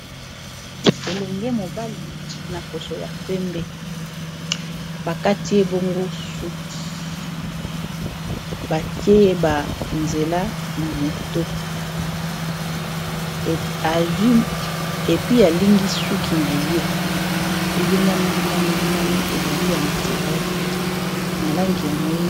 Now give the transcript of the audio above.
ELenge mobali na poso ya pembe, bakati ebongo suki batieye ba nzela na moto epi alingi suki na ye ! elingami,.. elingami... elingami, ezali ya naturele na langi ya moyindo .